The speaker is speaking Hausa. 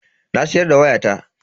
Na siyar da wayata.